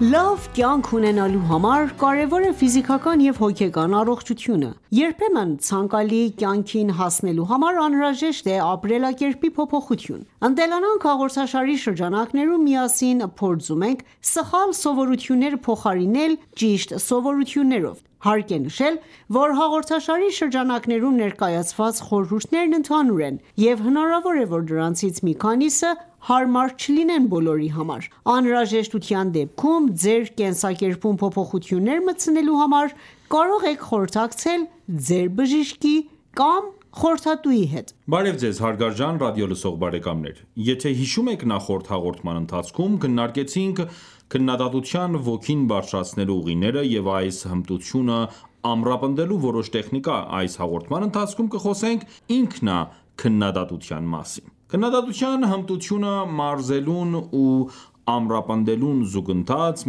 Լավ կյանք ունենալու համար կարևոր է ֆիզիկական և հոգեկան առողջությունը։ Երբեմն ցանկալի կյանքին հասնելու համար անհրաժեշտ է ապրելակերպի փոփոխություն։ «Ընտելանանք» հաղորդաշարի շրջանակներում միասին փորձում ենք սխալ սովորությունները փոխարինել ճիշտ սովորություններով։ Հարկ է նշել, որ հաղորդաշարի շրջանակներում ներկայացված խորհուրդներն ընդհանուր են, և հնարավոր է, որ դրանցից մի քանիսը հարմար չլինեն բոլորի համար: Անհրաժեշտության դեպքում ձեր կենսակերպում փոփոխություններ մտցնելու համար կարող եք խորհրդակցել ձեր բժշկի կամ խորհրդատուի հետ: Նախորդ հաղորդման ընթացքում քննարկել ենք քննադատության ոգին բարձրացնելու ուղիները և այս հմտությունը ամրապնդելու որոշ տեխնիկա, այս հաղորդման ընթացքում կխոսենք ինքնաքննադատության մասին: Քննադատության հմտությունը մարզելուն ու ամրապնդելուն զուգընթաց՝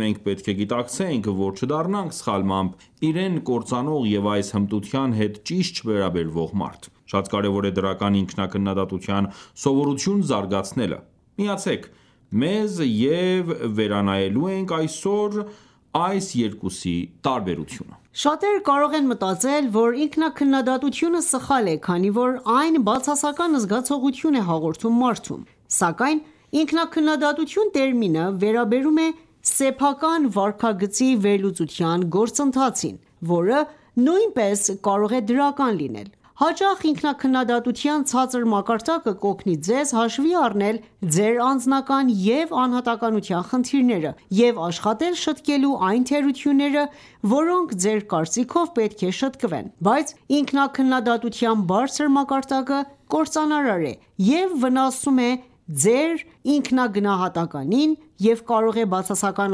մենք պետք է գիտակցենք, որ չդառնանք սխալմամբ իրեն կործանող և այս հմտության հետ ճիշտ չվերաբերվող մարդ։ Շատ կարևոր է դրական ինքնաքննադատության սովորություն զարգացնելը։ Միացե՛ք մեզ՝ վերանայելու այս երկուսի տարբերությունը: Շատերը կարող են մտածել, որ ինքնաքննադատությունը սխալ է, քանի որ այն բացասական զգացողություն է հաղորդում մարդուն։ Սակայն ինքնաքննադատություն տերմինը վերաբերում է սեփական վարքագծի վերլուծության գործընթացին, որը նույնպես կարող է դրական լինել։ Հաճախ ինքնաքննադատության ցածր մակարդակը կօգնի ձեզ հաշվի առնել ձեր անձնական և անհատականության խնդիրները և աշխատել շտկելու այն թերությունները, որոնք, ձեր կարծիքով, պետք է շտկվեն: Բայց ինքնաքննադատության բարձր մակարդակը կործանարար է և վնասում է ձեր ինքնագնահատականին և կարող է բացասական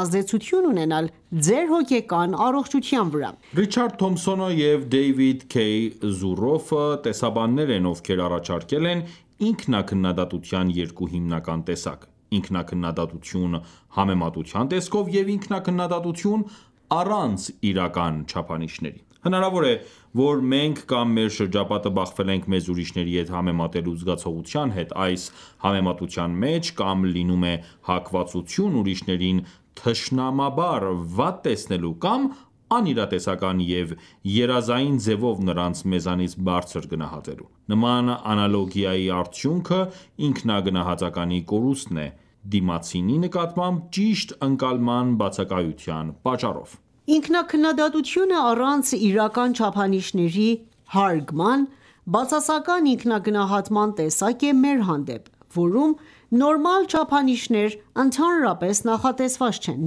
ազդեցություն ունենալ ձեր հոգեկան առողջության վրա: Ռիչարդ Թոմփսոնը և Դեյվիդ Ք. Զուրոֆը տեսաբաններ են, ովքեր առաջարկել են ինքնաքննադատության երկու հիմնական տեսակ՝ ինքնաքննադատություն համեմատության տեսքով և ինքնաքննադատություն՝ առանց իրական չափանիշների: Հնարավոր է, որ մենք կամ մեր շրջապատը բախվել ենք մեզ ուրիշների հետ համեմատելու զգացողության հետ, այս համեմատության մեջ կամ լինում է հակվածություն ուրիշներին թշնամաբար վատ տեսնելու, կամ անիրատեսական և երազային ձևով նրանց մեզանից բարձր գնահատելու: Նման անալոգիայի արդյունքը ինքնագնահատականի կորուստն է՝ դիմացինի նկատմամբ ճիշտ ընկալման բացակայության պատճառով: Ինքնաքննադատությունը՝ առանց իրական չափանիշների հարգման, բացասական ինքնագնահատման տեսակ է մեր հանդեպ, որում նորմալ չափորոշիչներ ընդհանրապես նախատեսված չեն,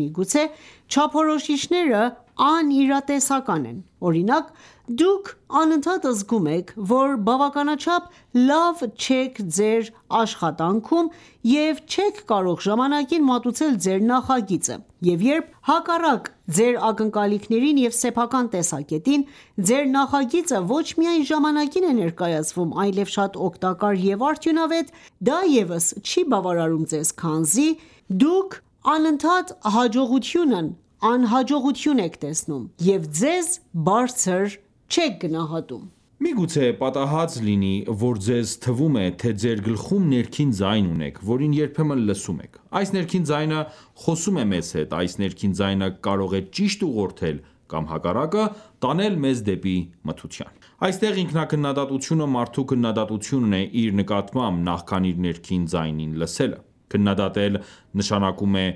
միգուցե չափորոշիչները անիրատեսական են. Օրինակ, դուք անընդհատ զգում եք, որ բավականաչափ լավ չեք ձեր աշխատանքում և չեք կարող ժամանակին մատուցել ձեր նախագիծը, և երբ հակառակ ձեր ակնկալիքներին և սեփական տեսակետին, ձեր նախագիծը ոչ միայն ժամանակին է ներկայցվում, այլև շատ օգտակար և արդյունավետ, դա ևս չի բավարարում ձեզ, քանի որ դուք անընդհատ հաջողությունն անհաջողություն եք տեսնում և ձեզ բարձր չեք գնահատում: Միգուցե պատահած լինի, որ ձեզ թվում է, թե ձեր գլխում ներքին ձայն ունեք, որին երբեմն լսում եք։ Այս ներքին ձայնը, խոսում է մեզ հետ: Այս ներքին ձայնը կարող է ճիշտ ուղղորդել կամ հակառակը՝ տանել մեզ դեպի մթության: Այստեղ ինքնաքննադատությունը մարդու քննադատությունն է իր նկատմամբ, նախքան իր ներքին ձայնին լսելը: Քննադատել նշանակում է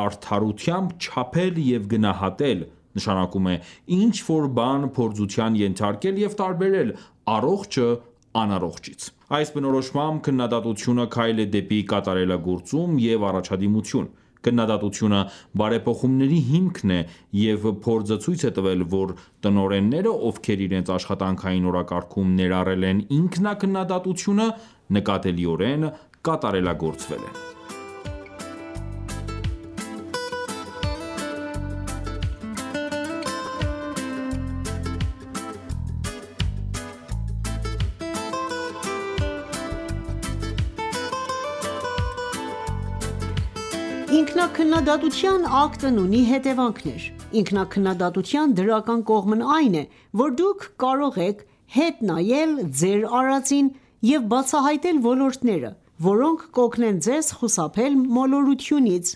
արդարությամբ չափել և գնահատել, նշանակում է ինչ-որ բան փորձության ենթարկել և տարբերել առողջը անառողջից: Այս բնորոշմամբ քննադատությունը քայլ է դեպի կատարելագործում և առաջադիմություն: Քննադատությունը բարեփոխումների հիմքն է, և փորձը ցույց է տվել, որ տնօրենները, ովքեր իրենց աշխատանքային օրակարգում ներառել են ինքնաքննադատությունը, նկատելիորեն կատարելագործվել են: Ինքնաքննադատության ակտն ունի հետևանքներ. Ինքնաքննադատության դրական կողմն այն է, որ դուք կարող եք հետ նայել ձեր արածին և բացահայտել ոլորտները, որոնք կօգնեն ձեզ խուսափել մոլորությունից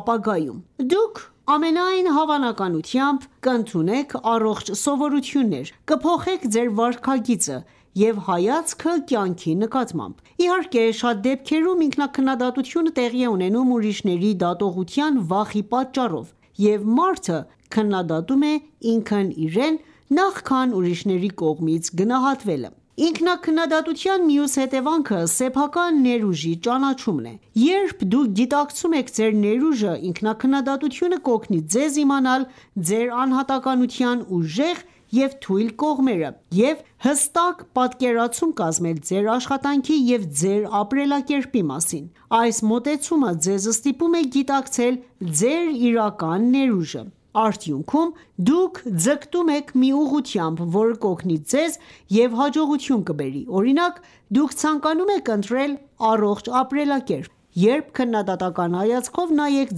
ապագայում: Դուք, ամենայն հավանականությամբ, կընդունեք առողջ սովորություններ, կփոխեք ձեր վարքագիծը և հայացքը կյանքի նկատմամբ: Իհարկե, շատ դեպքերում ինքնաքննադատությունը տեղի է ունենում ուրիշների դատողության վախի պատճառով, և մարդը քննադատում է ինքն իրեն, նախքան ուրիշների կողմից գնահատվելը: Ինքնաքննադատության մյուս հետևանքը սեփական ներուժի ճանաչումն է։ Երբ դուք գիտակցում եք ձեր ներուժը, ինքնաքննադատությունը կօգնի ձեզ իմանալ ձեր անհատականության ուժեղ և թույլ կողմերը և հստակ պատկերացում կազմել ձեր աշխատանքի և ձեր ապրելակերպի մասին: Այս մոտեցումը ձեզ ստիպում է գիտակցել ձեր իրական ներուժը: Արդյունքում՝ դուք ձգտում եք մի ուղղությամբ, որը կօգնի ձեզ և հաջողություն կբերի։ Օրինակ, դուք ցանկանում եք ընտրել առողջ ապրելակերպ. Երբ քննադատական հայացքով նայեք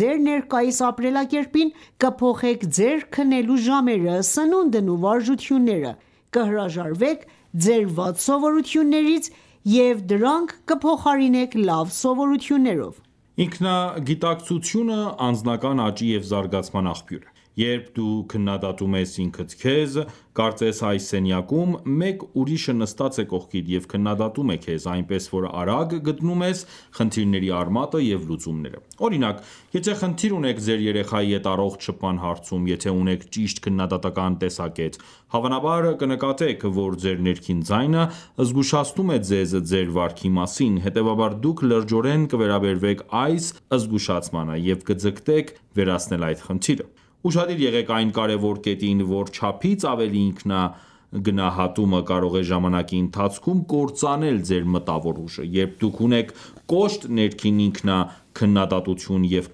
ձեր ներկայիս ապրելակերպին, կփոխեք ձեր քնելու ժամերը, սնունդն ու վարժությունները, կհրաժարվեք ձեր վատ սովորություններից և դրանք կփոխարինեք լավ սովորություններով: Ինքնագիտակցությունը անձնական աճի և զարգացման աղբյուր է: Երբ դու քննադատում ես ինքդ քեզ, կարծես այս սենյակում մեկ ուրիշը նստած է կողքիդ և քննադատում է քեզ, այնպես որ արագ գտնում ես խնդիրների արմատը և լուծումները: Օրինակ, եթե խնդիր ունեք ձեր երեխայի հետ առողջ շփման հարցում, եթե ունեք ճիշտ քննադատական տեսակետ, հավանաբար կնկատեք, որ ձեր ներքին ձայնը զգուշացնում է ձեզ ձեր վարքի մասին, հետևաբար դուք լրջորեն կվերաբերվեք այս զգուշացմանը և կձգտեք վերացնել այդ խնդիրը: Ուշադիր եղեք այն կարևոր կետին, որ չափից ավելի ինքնագնահատումը կարող է ժամանակի ընթացքում կործանել ձեր մտավոր ուժը: Երբ դուք ունեք կոշտ ներքին ինքնաքննադատություն և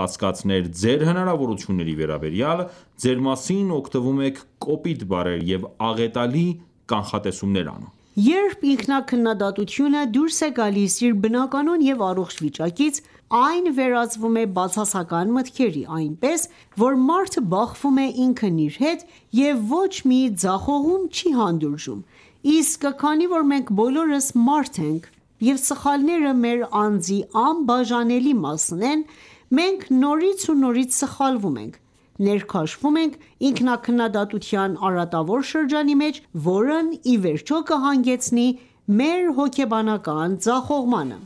կասկածներ ձեր հնարավորությունների վերաբերյալ, ձեր մասին օգտվում եք կոպիտ բառեր, և աղետալի կանխատեսումներ անում: Երբ ինքնաքննադատությունը դուրս է գալիս իր բնականոն և առողջ վիճակից, այն վերածվում է բացասական մտքերի, այնպես որ մարդը բախվում է ինքն իր հետ և ոչ մի ձախողում չի հանդուրժում: Իսկ քանի որ մենք բոլորս՝ մարդ ենք և սխալները մեր անձի անբաժանելի մասն են, մենք նորից ու նորից սխալվում ենք, ներքաշվում ենք ինքնաքննադատության արատավոր շրջանի մեջ, որն ի վերջո կհանգեցնի մեր հոգեբանական ձախողմանը: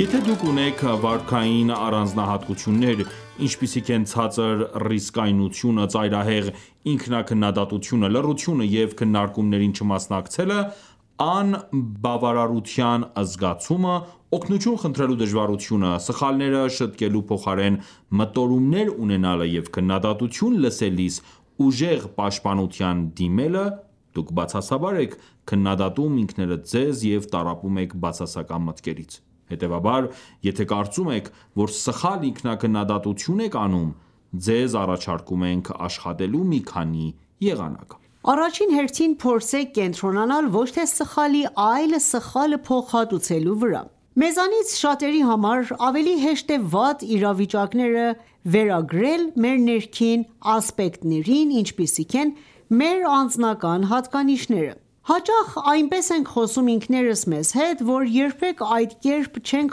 Եթե դուք ունեք վարքային առանձնահատկություններ, ինչպիսիք են ցածր ռիսկայնությունը, ծայրահեղ ինքնաքննադատությունը, լռությունը և քննարկումներին չմասնակցելը, անբավարարության զգացումը, օգնություն խնդրելու դժվարությունը, սխալները շտկելու փոխարեն մտորումներ ունենալը և քննադատություն լսելիս ուժեղ պաշտպանության դիմելը, դուք բացասաբար եք քննադատում ինքներդ ձեզ և տառապում եք բացասական մտքերից: Հետևաբար, եթե կարծում եք, որ սխալ ինքնաքննադատություն եք անում, ձեզ առաջարկում ենք աշխատելու մի քանի եղանակ: Առաջին հերթին փորձեք կենտրոնանալ ոչ թե սխալի, այլ սխալը փոխհատուցելու վրա: Մեզանից շատերի համար ավելի հեշտ է վատ իրավիճակները վերագրել մեր ներքին ասպեկտներին, ինչպիսիք են մեր անձնական հատկանիշները: Հաճախ այնպես ենք խոսում ինքներս մեզ հետ, որ երբեք այդ կերպ չենք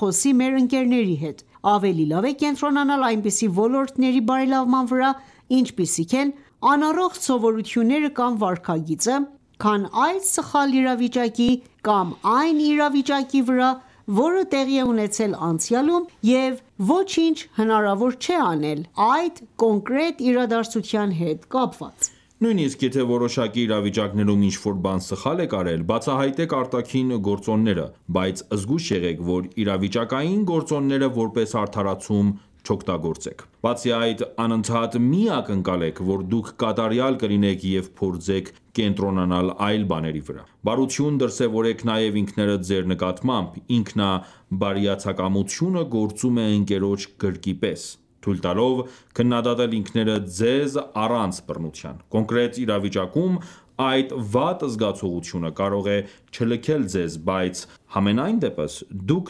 խոսի մեր ընկերների հետ: Ավելի լավ է կենտրոնանալ այնպիսի ոլորտների բարելավման վրա, ինչպիսիք են անառողջ սովորությունները կամ վարքագիծը, քան այդ սխալ իրավիճակի, կամ այն իրավիճակի վրա, որը տեղի է ունեցել անցյալում, և ոչինչ հնարավոր չէ անել այդ կոնկրետ իրադարձության հետ կապված: Նույնիսկ եթե որոշակի իրավիճակներում ինչ-որ բան սխալ եք արել, բացահայտեք արտաքին գործոնները, բայց զգույշ եղեք, որ իրավիճակային գործոնները որպես արդարացում չօգտագործեք: Բացի այդ, անընդհատ մի ակնկալեք, որ դուք կատարյալ կլինեք և փորձեք կենտրոնանալ այլ բաների վրա: Բարություն դրսևորեք նաև ինքներդ ձեր նկատմամբ: Ինքնաբարյացակամությունը գործում է ընկերոջ գրկի պես՝ թույլ տալով քննադատել ինքներդ ձեզ՝ առանց բռնության: Կոնկրետ իրավիճակում այդ վատ զգացողությունը կարող է չլքել ձեզ, բայց, համենայնդեպս, դուք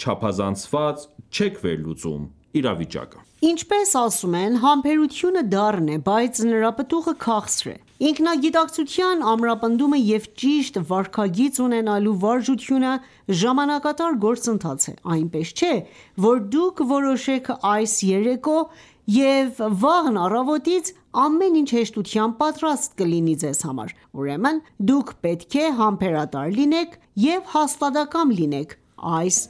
չափազանցված չեք վերլուծում իրավիճակը: Ինչպես ասում են, համբերությունը դառն է, բայց նրա պտուղը քաղցր է: Ինքնագիտակցության ամրապնդումը և ճիշտ վարքագիծ ունենալու վարժությունը ժամանակատար գործընթաց է, այնպես չէ, որ դուք որոշեք այս երեկո, և վաղն առավոտից ամեն ինչ հեշտությամբ պատրաստ կլինի ձեզ համար, ուրեմն դուք պետք է համբերատար լինեք և հաստատակամ լինեք այս